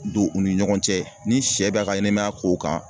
Don u ni ɲɔgɔn cɛ ni sɛ bɛ ka ka ɲɛnɛmaya kow kan